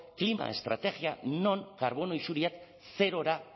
klima estrategia non karbono isuriak zerora